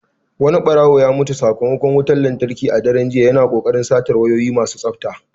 Wani ɓarawo ya mutu sakamakon wutar lantarki a daren jiya, yana kokarin satar wayoyi masu tsafta.